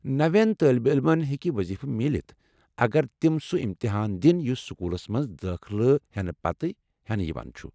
نَوین طٲلب علمن ہیكہِ وظیفہٕ میلِتھ اگر تِم سُہ امتحان دِن یُس سكوٗلس منز دٲخلہٕ ہٮ۪نہٕ پتہ ہٮ۪نہٕ یوان چُھ ۔